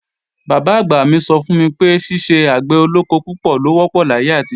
Bàbá-àgbà mí sọ fún mi pé, ṣiṣẹ́ àgbẹ̀ olóko púpọ̀ ló wọ́pọ̀ láyé àtijọ́